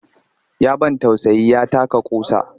Ya ban tausayi ya taka ƙusa